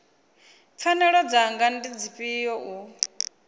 pfanelo dzanga ndi dzifhio u